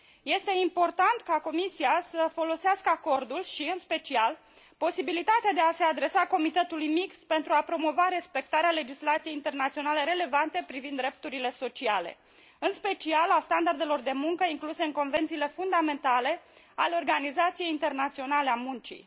Este important ca Comisia să folosească acordul și, în special, posibilitatea de a se adresa Comitetului mixt pentru a promova respectarea legislației internaționale relevante privind drepturile sociale, în special a standardelor de muncă incluse în convențiile fundamentale ale Organizației Internaționale a Muncii.